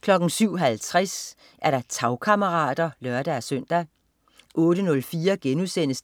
07.50 Tagkammerater (lør-søn) 08.04